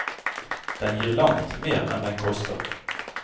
Den gir langt mer enn den koster.